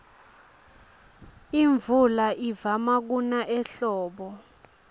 imvula ivama kuna ehlobo